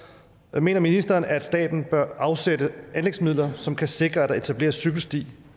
og mener ministeren at staten bør afsætte anlægsmidler som kan sikre at der etableres cykelsti